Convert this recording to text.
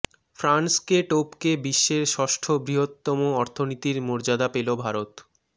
ফ্রান্সকে টপকে বিশ্বের ষষ্ঠ বৃহত্তম অর্থনীতির মর্যাদা পেল ভারত